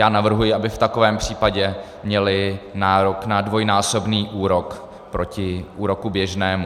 Já navrhuji, aby v takovém případě měly nárok na dvojnásobný úrok proti úroku běžnému.